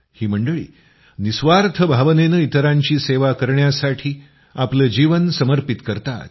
ही मंडळी निःस्वार्थ भावनेनं इतरांची सेवा करण्यासाठी आपलं जीवन समर्पित करतात